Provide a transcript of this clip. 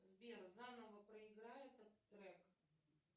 сбер заново проиграй этот трек